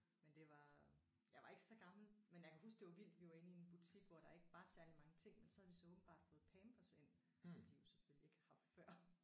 Men det var jeg var ikke så gammel men jeg kan huske det var vildt vi var inde i en butik hvor der ikke var særlig mange ting men så havde de så åbenbart fået Pampers ind som de jo selvfølgelig ikke har haft før